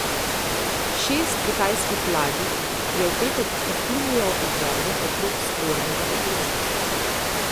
Šest kitajskih ladij je v petek vplulo v vode okrog spornega otočja.